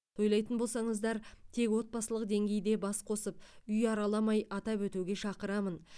тойлайтын болсаңыздар тек отбасылық деңгейде бас қосып үй араламай атап өтуге шақырамын